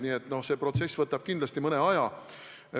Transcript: Nii et see protsess võtab kindlasti mõne aja.